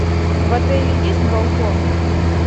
в отеле есть балкон